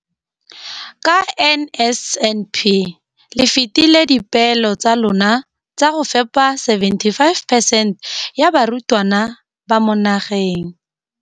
Ka NSNP le fetile dipeelo tsa lona tsa go fepa masome a supa le botlhano a diperesente ya barutwana ba mo nageng.